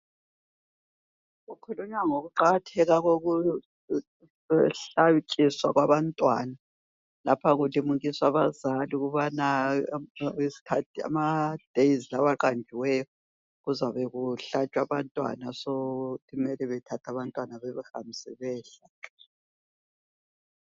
Okukhulunywa ngoKuqakatheka kokuhlatshiswa kwabantwana lapha kulimukiswa abazali ukubana amadays aqanjiweyo kuzabe ukuhlatshwa abantwana so kumele bethathe abantwana bebahambise beyehlatshwa